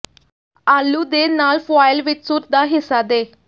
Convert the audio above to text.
ਆਲੂ ਦੇ ਨਾਲ ਫੁਆਇਲ ਵਿੱਚ ਸੂਰ ਦਾ ਹਿੱਸਾ ਦੇ